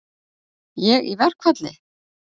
Ég í verkfall?